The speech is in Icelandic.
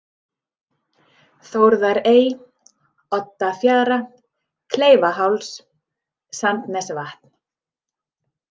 Þórðarey, Oddafjara, Kleifaháls, Sandnesvatn